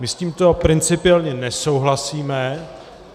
My s tímto principiálně nesouhlasíme.